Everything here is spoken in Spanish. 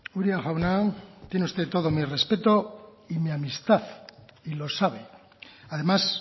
uria jauna tiene usted todo mi respeto y mi amistad y lo sabe además